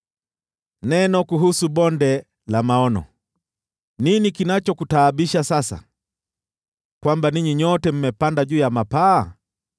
Neno kuhusu Bonde la Maono: Nini kinachokutaabisha sasa, kwamba ninyi nyote mmepanda juu ya mapaa?